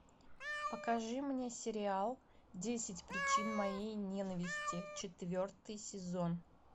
покажи мне сериал десять причин моей ненависти четвертый сезон